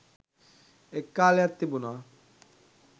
එක් කාලයක් තිබුණා